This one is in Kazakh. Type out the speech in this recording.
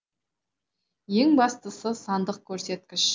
ең бастысы сандық көрсеткіш